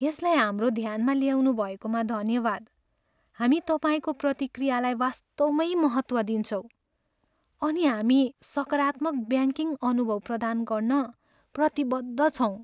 यसलाई हाम्रो ध्यानमा ल्याउनुभएकोमा धन्यवाद। हामी तपाईँको प्रतिक्रियालाई वास्तवमै महत्त्व दिन्छौँ, अनि हामी सकारात्मक ब्याङ्किङ अनुभव प्रदान गर्न प्रतिबद्ध छौँ।